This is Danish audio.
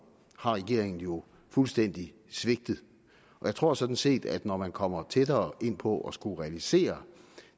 har regeringen jo fuldstændig svigtet jeg tror sådan set at man når man kommer tættere ind på at skulle realisere